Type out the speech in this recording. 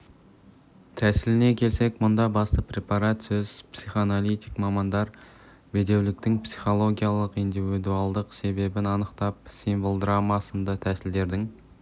тәсіліне келсек мұнда басты препарат сөз психоаналитик мамандар бедеуліктің психологиялық-индивидуалдық себебін анықтап символдрама сынды тәсілдердің